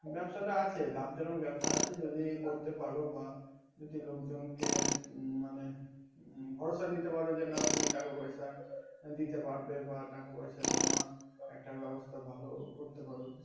ব্যাবসাটা আছে লাভ যখন আছে যদি করতে পারো বা যদি লোকজনকে মানে ভরসা ডেটা পারো যে না তুমি টাকা পয়সা দিতে পারবে বা টাকা পয়সা জমা একটা ব্যবস্থা ভালো করতে পারো